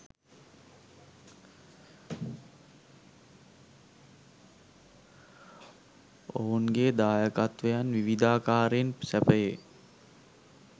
ඔවුන්ගේ දායකත්වයන් විවිධාකාරයෙන් සැපයේ.